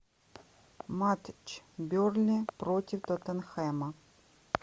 матч бернли против тоттенхэма